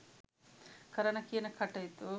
කරන කියන කටයුතු